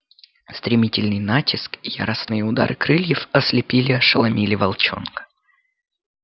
стремительный натиск и яростные удары крыльев ослепили ошеломили волчонка